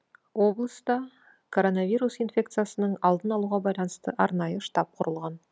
облыста коронавирус инфекциясының алдын алуға байланысты арнайы штаб құрылған